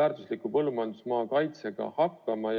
väärtusliku põllumajandusmaa kaitsega hakkama.